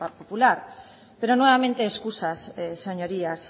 popular pero nuevamente excusas señorías